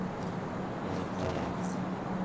Á vef